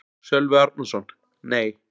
Sölvi Árnason: Nei.